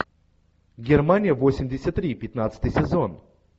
германия восемьдесят три пятнадцатый сезон